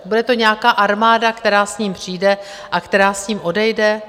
Bude to nějaká armáda, která s ním přijde a která s ním odejde.